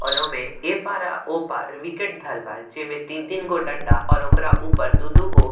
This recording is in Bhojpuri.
और ओ में एपार और ओपार विकेट धैल बा जेमें तीन-तीन गो डंडा और ओकरा ऊपर दू-दू गो --